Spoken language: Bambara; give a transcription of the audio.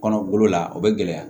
Kɔnɔ golo la o bɛ gɛlɛya